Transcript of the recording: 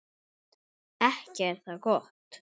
Ekki er það gott!